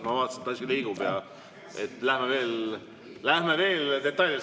Ma vaatasin, et asi liigub ja lähme veel detailides edasi.